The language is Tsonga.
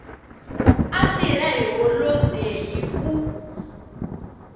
a tirha hi holodeyi u